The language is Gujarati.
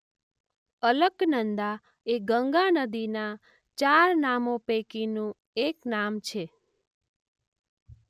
અલકનંદા એ ગંગા નદીનાં ચાર નામો પૈકીનું એક નામ છે.